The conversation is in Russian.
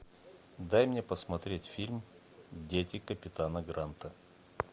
дай мне посмотреть фильм дети капитана гранта